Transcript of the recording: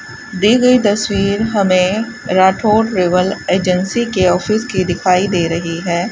दी गई तस्वीर हमें राठौर ट्रैवल एजेंसी के ऑफिस की दिखाई दे रही है।